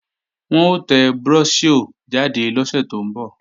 Wọn ó tẹ bróṣíọ̀ jáde lọ́sẹ̀ tó ń bọ̀